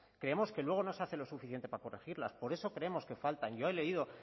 creemos que luego no se hace lo suficiente para corregirlas por eso creemos que faltan yo he leído